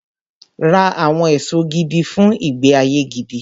Ra àwọn èso gidi fun ìgbé-ayé gidi.